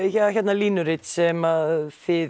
línurit sem þið